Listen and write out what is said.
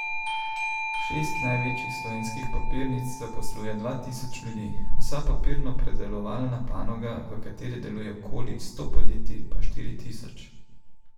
Šest največjih slovenskih papirnic zaposluje dva tisoč ljudi, vsa papirnopredelovalna panoga, v kateri deluje okoli sto podjetij, pa štiri tisoč.